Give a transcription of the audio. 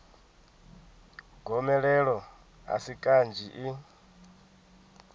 gomelelo a si kanzhi i